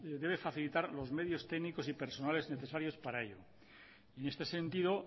debe facilitar los medios técnicos y personales para ello en este sentido